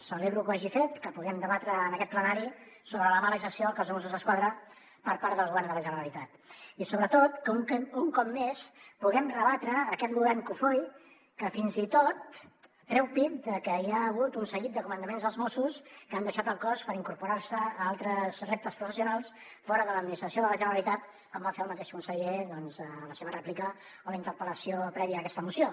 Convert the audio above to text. celebro que ho hagi fet que puguem debatre en aquest plenari sobre la mala gestió del cos de mossos d’esquadra per part del govern de la generalitat i sobretot que un cop més puguem rebatre aquest govern cofoi que fins i tot treu pit de que hi ha hagut un seguit de comandaments dels mossos que han deixat el cos per incorporar se a altres reptes professionals fora de l’administració de la generalitat com va fer el mateix conseller en la seva rèplica a la interpellació prèvia a aquesta moció